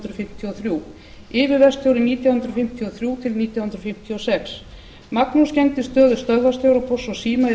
hundruð fimmtíu og þrjú yfirverkstjóri nítján hundruð fimmtíu og þrjú til nítján hundruð fimmtíu og sex magnús gegndi stöðu stöðvarstjóra pósts og síma í